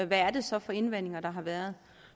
hvad det så er for indvendinger der har været